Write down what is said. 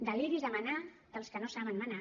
deliris de manar dels que no saben manar